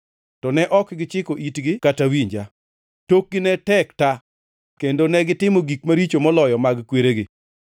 To ne ok gichiko itgi kata winja. Tokgi ne tek ta kendo negitimo gik maricho moloyo mag kweregi.’